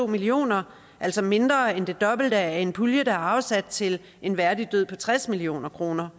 million kr altså mindre end det dobbelte af en pulje der er afsat til en værdig død på tres million kroner